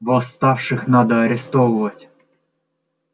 восставших надо арестовывать